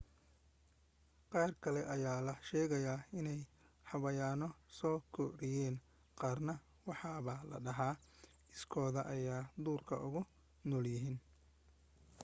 qaar kale ayaa la sheegaa inay xayawaano soo koriyeen qaarna waxaaba la dhahaa iskood ayay duurka ugu noolaayeen